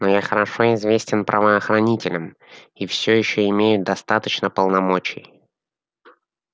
но я хорошо известен правоохранителям и все ещё имею достаточно полномочий